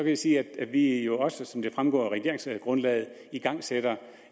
jeg sige at vi jo også som det fremgår af regeringsgrundlaget igangsætter